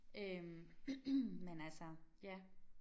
Øh men altså ja